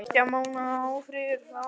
Eftir tveggja mánaða ófrið fór hróður